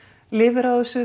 lifir á þessu